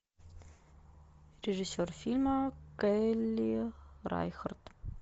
режиссер фильма келли райхардт